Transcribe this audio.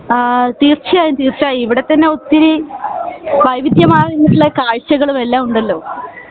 ആഹ് തീർച്ചയായും തീർച്ചയായും ഇവിടെ തന്നെ ഒത്തിരി വൈവിധ്യ മായിട്ടുള്ള കാഴ്ചകളും എല്ലാം ഉണ്ടല്ലോ